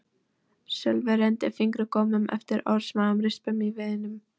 Sölvi renndi fingurgómunum eftir örsmáum rispum í viðnum.